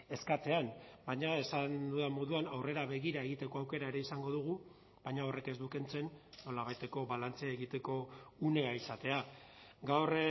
eskatzean baina esan dudan moduan aurrera begira egiteko aukera ere izango dugu baina horrek ez du kentzen nolabaiteko balantze egiteko unea izatea gaur